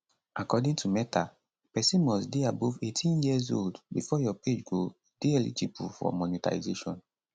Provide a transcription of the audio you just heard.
according to meta pesin must dey above 18 years old bifor your page go dey eligible for monetisation